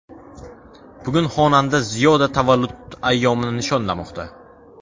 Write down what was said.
Bugun xonanda Ziyoda tavallud ayyomini nishonlamoqda.